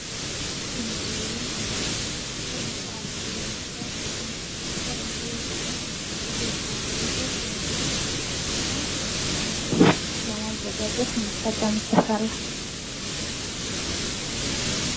በምስሉ ላይ የምንመለከተው የፍራፍሬ አይነት ሲሆን ይህ የፍራፍሬ አይነት የተለያዩ ነገሮችን ለማዘጋጀት ለምሳሌ ጀሶችን ለማዘጋጀት እንጠቀምበታለን ።